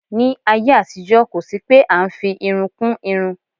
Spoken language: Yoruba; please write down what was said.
Ní ayé àtijó kó sì pé a ń fi irun kún irun.